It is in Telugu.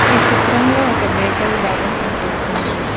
ఈ చిత్రంలో ఒక బేకరీ భాగం కనిపిస్తోంది.